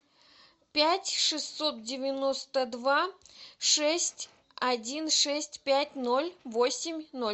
пять шестьсот девяносто два шесть один шесть пять ноль восемь ноль